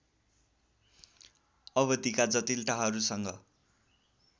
अवधिका जटिलताहरूसँग